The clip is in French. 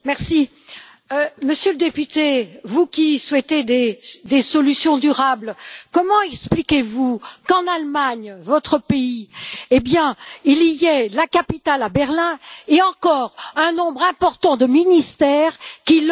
Monsieur le député, vous qui souhaitez des solutions durables, comment expliquez vous qu'en Allemagne, votre pays, il y ait la capitale à Berlin et encore un nombre important de ministères qui logent à Bonn?